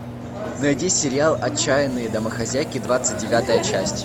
найди сериал отчаянные домохозяйки двадцать девятая часть